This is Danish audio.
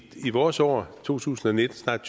vores år to tusind og nitten snart